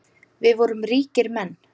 Við vorum ríkir menn.